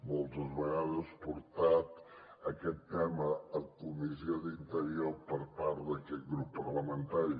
moltes vegades portat aquest tema a la comissió d’interior per part d’aquest grup parlamentari